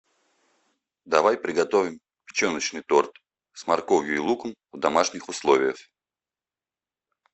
давай приготовим печеночный торт с морковью и луком в домашних условиях